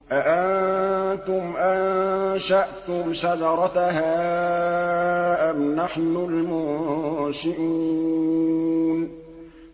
أَأَنتُمْ أَنشَأْتُمْ شَجَرَتَهَا أَمْ نَحْنُ الْمُنشِئُونَ